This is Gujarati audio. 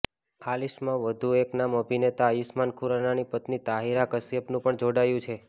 આ લિસ્ટમાં વધુ એક નામ અભિનેતા આયુષમાન ખુરાનાની પત્ની તાહિરા કશ્યપનું પણ જોડાયું છે